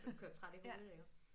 Man kører træt i hovedet iggå